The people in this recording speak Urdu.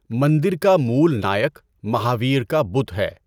مندر کا مول نائک مہاویر کا بت ہے۔